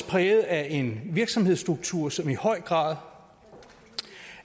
præget af en virksomhedsstruktur som i høj grad